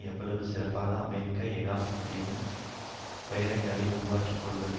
எவ்வளவு சிறப்பாக அமெரிக்க ஏகாபத்தியம் பேரங்களை உருவாக்கிக்கொள்வது